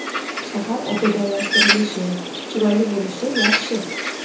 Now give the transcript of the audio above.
Shahar obodonlashtirilishi, chiroyli bo‘lishi yaxshi.